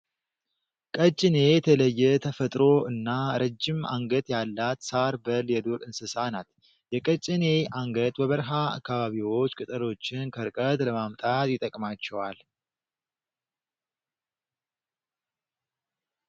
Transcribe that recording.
ቀጭኔ የተለየ ተፈጥሮ እና ረጅም አንገት ያላት ሳር በል የዱር እንስሳ ናት። የቀጭኔ አንገት በበረሃ አካባቢዎች ቅጠሎችን ከርቀት ለማምጣት ይጠቅማቸዋል።